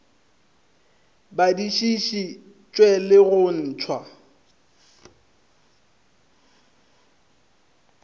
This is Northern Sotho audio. badišiši tšwe le go ntšwa